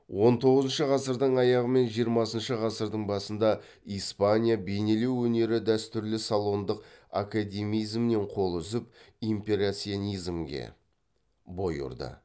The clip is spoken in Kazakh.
он тоғызыншы ғасырдың аяғы мен жиырмасыншы ғасырдың басында испания бейнелеу өнері дәстүрлі салондық академизмнен қол үзіп импрессионизмге бой ұрды